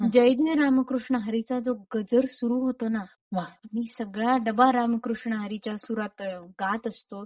जय जय राम कृष्ण हरी चा जो गजर सुरु होतोना की सगळा डबा राम कृष्ण हरी च्या सुरात गात असतो.